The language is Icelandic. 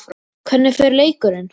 Hvernig fer leikurinn?